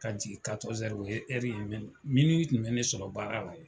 Ka jigin o ye ɛri ye mɛ tun bɛ ne sɔrɔ baara la yen